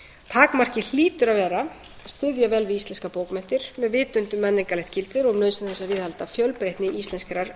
takmarkið hlýtur að vera að styðja vel við íslenskar bókmenntir með vitund um menningarlegt gildi og nauðsyn þess að viðhalda fjölbreytni íslenskrar